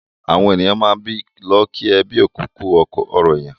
Àwọn èèyàn máà n lọ kí ẹbí òkú kú ọrọ̀ èèyàn